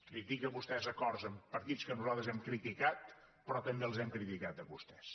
critica vostè acords amb partits que nosaltres hem criticat però també els hem criticat a vostès